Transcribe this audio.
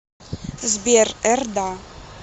сбер р да